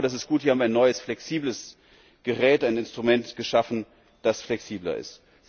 Das ist gut, wir haben ein neues Gerät, ein Instrument geschaffen, das flexibler ist.